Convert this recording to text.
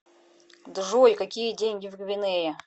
джой какие деньги в гвинее